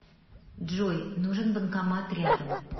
джой нужен банкомат рядом